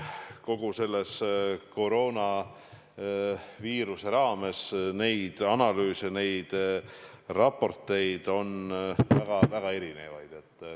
Kogu selle koroonaviirusega seotult on analüüse ja raporteid olnud väga erinevaid.